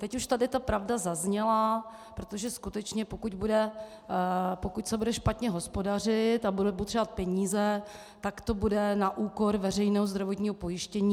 Teď už tady ta pravda zazněla, protože skutečně pokud se bude špatně hospodařit a budeme potřebovat peníze, tak to bude na úkor veřejného zdravotního pojištění.